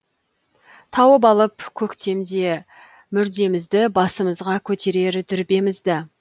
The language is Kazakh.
тауып алып көктемде мүрдемізді басымызға көтерер дүрбемізді